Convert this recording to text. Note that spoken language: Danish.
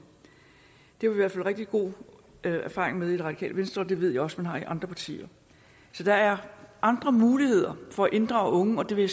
det hvert fald rigtig god erfaring med i det radikale venstre og det ved jeg man også har i andre partier så der er andre muligheder for at inddrage unge og det vil